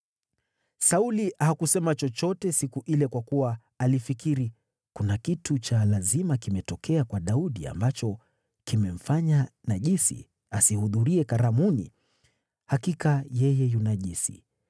Sauli hakusema chochote siku ile kwa kuwa alifikiri, “Kuna kitu cha lazima kimetokea kwa Daudi ambacho kimemfanya najisi asihudhurie karamuni, hakika yeye yu najisi.”